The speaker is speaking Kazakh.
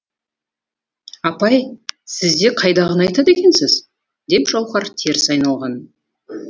апай сіз де қайдағыны айтады екенсіз деп жауһар теріс айналған